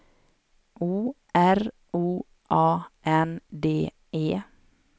O R O A N D E